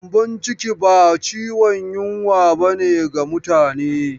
Gyambon ciki ba ciwon yunwa ba ne ga mutane.